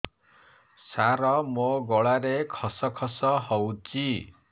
ସାର ମୋ ଗଳାରେ ଖସ ଖସ ହଉଚି